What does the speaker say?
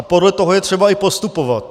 A podle toho je třeba i postupovat.